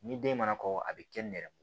Ni den mana kɔkɔ a bi kɛn nɛrɛmugu